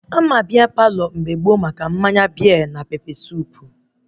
Ama Bia Palọ mgbe gboo maka mmanya bia na pepe suup